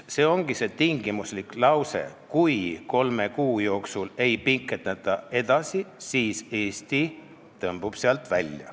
See ongi see tingimuslik lause, et kui kolme kuu jooksul seda rohkem ei pikendata, siis Eesti tõmbub sealt välja.